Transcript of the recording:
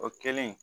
O kɛlen